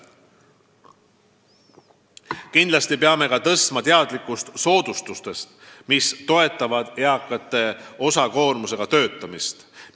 Muidugi tuleb parandada inimeste teadmisi soodustustest, mis toetavad eakate osakoormusega töötamist.